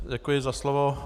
Děkuji za slovo.